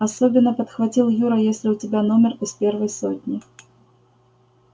особенно подхватил юра если у тебя номер из первой сотни